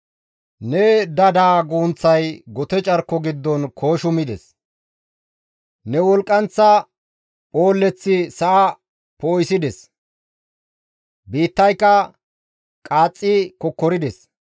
Ne dada gunththay gote carko giddon kooshimides; ne wolqqanththa phoolleththi sa7a poo7isides; biittayka qaaxxi kokkorides.